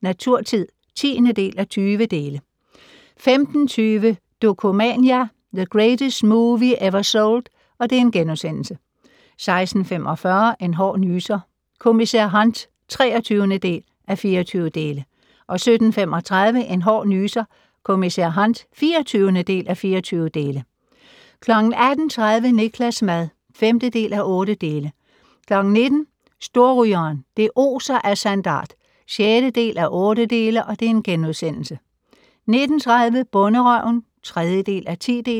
Naturtid (10:20) 15:20: Dokumania: The Greatest Movie Ever Sold * 16:45: En hård nyser: Kommissær Hunt (23:24) 17:35: En hård nyser: Kommissær Hunt (24:24) 18:30: Niklas' mad (5:8) 19:00: Storrygeren - det oser af sandart (6:8)* 19:30: Bonderøven (3:10)